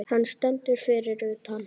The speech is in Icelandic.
Hann stendur fyrir utan.